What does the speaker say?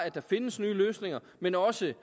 der findes nye løsninger men også